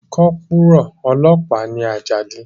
Kọ́pùrù ọlọ́pàá ni Àjàdí